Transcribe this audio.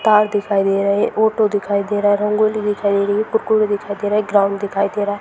Car दिखाई दे रही है ऑटो दिखाई दे रहा है रंगोली दिखाई दे रही है कुरकुरे दिखाई दे रहे है ग्राउन्ड दिखाई दे रहा है।